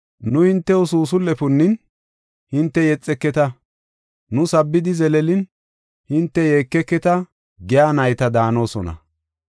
“ ‘Nu hintew suusul77e punnin; hinte yexeketa. Nu sabbidi zeleelin; hinte yeekeketa’ giya nayta daanosona.